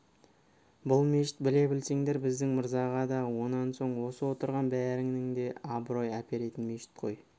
бұл мешіт біле білсеңдер біздің мырзаға да онан соң осы отырған бәріңе де зор абырой әперетін мешіт қой